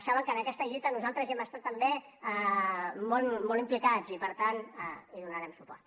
saben que en aquesta lluita nosaltres hi hem estat també molt implicats i per tant hi donarem suport